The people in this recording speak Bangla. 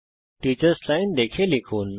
টিচার্স লাইন দেখে লিখুন